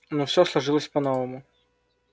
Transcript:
но все сложилось по новому